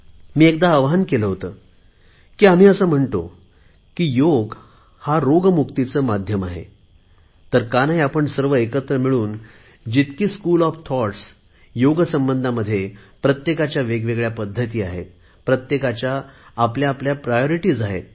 मी एकदा आवाहन केले होते की आम्ही असे म्हणतो की योग हा रोग मुक्तीचे माध्यम आहे तर का नाही आपण सर्व एकत्र मिळून योग संबंधी जितके स्कूल ऑफ थॉटस्आहेत त्यांच्या प्रत्येकाच्या वेगवेगळ्या पद्धती आहेत प्रत्येकाची आपली आपली प्राधान्य आहेत